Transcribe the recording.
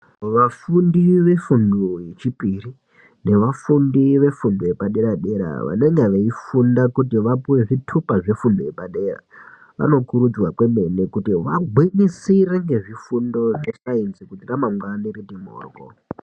Vafundi vefundo yechipiri, nevafundi vefundo yepadera-padera vanenga veifunda kuti vapuwe zvitupa zvefundo yepadera, vanokurudzirwa kwemene kuti vagwinyisire ngezvifundo zvesainzi kuti ramangwani riti mhoryo.